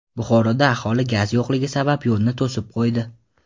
Buxoroda aholi gaz yo‘qligi sabab yo‘lni to‘sib qo‘ydi .